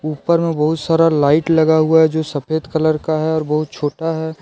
ऊपर में बहुत सारा लाइट लगा हुआ है जो सफेद कलर का है और बहुत छोटा है।